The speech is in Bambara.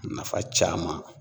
Nafa caman